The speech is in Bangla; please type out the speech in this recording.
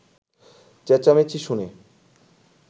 চেঁচামেচি শুনে